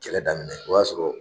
Kɛlɛ daminɛ o y'a sɔrɔ